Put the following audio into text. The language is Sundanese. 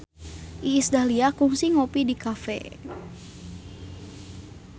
Iis Dahlia kungsi ngopi di cafe